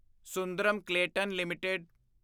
Sundaram Clayton LTD